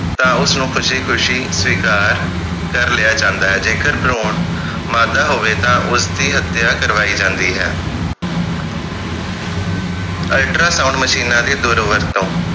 ਤਾ ਉਸਨੂੰ ਖੁਸ਼ੀ ਖੁਸ਼ੀ ਸਵੀਕਾਰ ਕਰ ਲਿਆ ਜਾਂਦਾ ਹੈ ਜੇਕਰ ਭਰੂਣ ਮਾਦਾ ਹੋਵੇ ਤਾਂ ਉਸਦੀ ਹਤਿਆ ਕਰਵਾਈ ਜਾਂਦੀ ਹੈ ultra sound ਮਸ਼ੀਨਾਂ ਦੀ ਦੁਰ ਵਰਤੋਂ